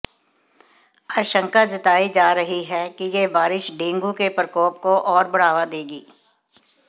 आशंका जताई जा रही है कि यह बारिश डेंगू के प्रकोप को और बढ़ावा देगी